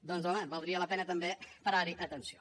doncs home valdria la pena també parar hi atenció